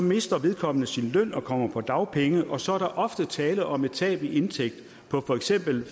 mister vedkommende sin løn og kommer på dagpenge og så er der ofte tale om et tab i indtægt på for eksempel